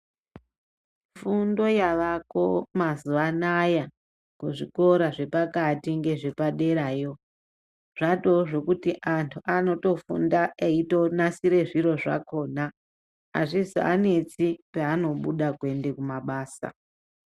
Fundo yavako mazuva anaya kuzvikora zvepakati ngezvepaderayo zvatoo zvokuti antu anotofunda eitonasire zviro zvakona. Hazvizoanesi peanobuda kuende kumabasa.